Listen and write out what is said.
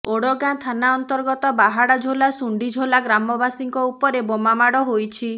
ଓଡଗାଁ ଥାନା ଅନ୍ତର୍ଗତ ବାହାଡାଝୋଲା ଶୁଣ୍ଢିଝୋଲା ଗ୍ରାମବାସୀଙ୍କ ଉପରେ ବୋମାମାଡ ହୋଇଛି